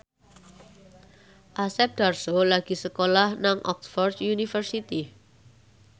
Asep Darso lagi sekolah nang Oxford university